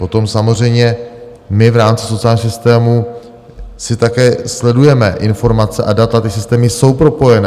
Potom samozřejmě my v rámci sociálního systému si také sledujeme informace a data, ty systémy jsou propojené.